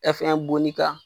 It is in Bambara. .